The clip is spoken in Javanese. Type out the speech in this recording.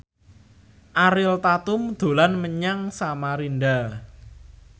Ariel Tatum dolan menyang Samarinda